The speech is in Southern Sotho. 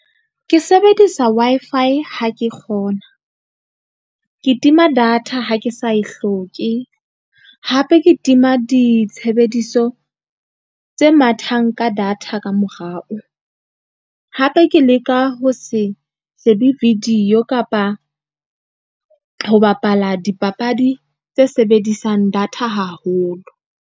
Ke sebedisa Wi-Fi ha ke kgona. Ke tima data ha ke sa e hloke, hape ke tima ditshebediso tse mathang ka data ka morao, hape ke leka ho se shebe video kapa ho bapala dipapadi tse sebedisang data haholo.